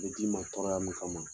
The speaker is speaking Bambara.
Bɛ d'i ma tɔɔrɔya min kama